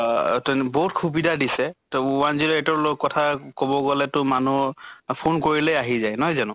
আহ তন বহুত সুবিধা দিছে। তʼ one zero eight ৰ লগত কথা কʼব গʼলে তো মানুহ অ phone কৰিলে আহি যায়, নহয় জানো?